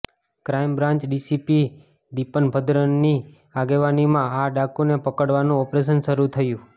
crime branch DCP Deepan ભદ્રનની આગેવાનીમાં આ ડાકુને પકડવાનું ઓપરેશન શરૂ થયું